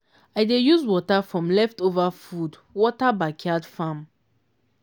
i dey use water from leftover food water backyard farm.